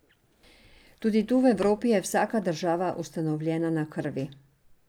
Tudi tu v Evropi je vsaka država ustanovljena na krvi.